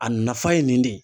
A nafa ye nin de ye